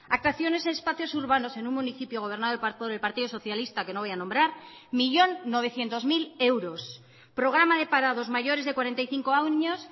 actuaciones en espacios urbanos en un municipio gobernado por el partidos socialista que no voy a nombrar un millón novecientos mil euros programa de parados mayores de cuarenta y cinco año